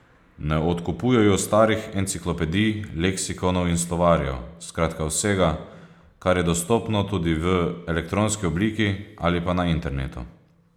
Ne odkupujejo starih enciklopedij, leksikonov in slovarjev, skratka vsega, kar je dostopno tudi v elektronski obliki ali pa na internetu.